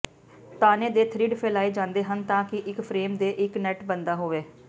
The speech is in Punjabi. ਤਾਣੇ ਦੇ ਥਰਿੱਡ ਫੈਲਾਏ ਜਾਂਦੇ ਹਨ ਤਾਂ ਕਿ ਇੱਕ ਫਰੇਮ ਤੇ ਇੱਕ ਨੈੱਟ ਬਣਦਾ ਹੋਵੇ